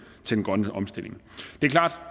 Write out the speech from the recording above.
grønne omstilling det er klart